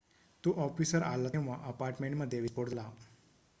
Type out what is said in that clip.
तो ऑफिसर आला तेव्हा अपार्टमेंटमध्ये विस्फोट झाला